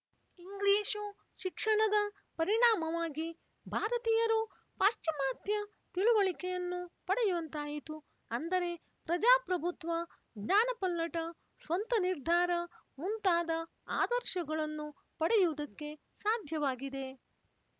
English ಶಿಕ್ಷಣದ ಪರಿಣಾಮವಾಗಿ ಭಾರತೀಯರು ಪಾಶ್ಚಿಮಾತ್ಯ ತಿಳುವಳಿಕೆಯನ್ನು ಪಡೆಯುವಂತಾಯಿತು ಅಂದರೆ ಪ್ರಜಾಪ್ರಭುತ್ವ ಜ್ಞಾನಪಲ್ಲಟ ಸ್ವಂತನಿರ್ಧಾರ ಮುಂತಾದ ಆದರ್ಶಗಳನ್ನು ಪಡೆಯುವುದಕ್ಕೆ ಸಾಧ್ಯವಾಗಿದೆ